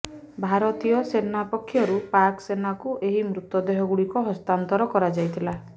ଭାରତୀୟ ସେନା ପକ୍ଷରୁ ପାକ ସେନାକୁ ଏହି ମୃତଦେହ ଗୁଡ଼ିକ ହସ୍ତାନ୍ତର କରାଯାଇଥିଲା